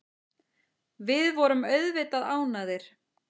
Við vorum auðvitað ánægðir.